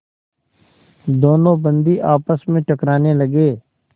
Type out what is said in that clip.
दोनों बंदी आपस में टकराने लगे